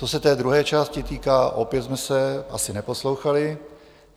Co se té druhé části týká, opět jsme se asi neposlouchali.